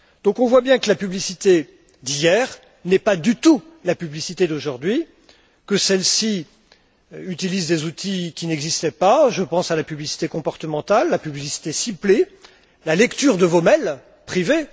Donc, on voit bien que la publicité d'hier n'est pas du tout la publicité d'aujourd'hui, que celle ci utilise des outils qui n'existaient pas je pense à la publicité comportementale, la publicité ciblée, la lecture de vos mails privés.